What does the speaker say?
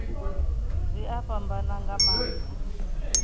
zwi a fhambana nga maanḓa